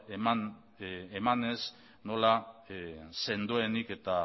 emanez nola sendoenik eta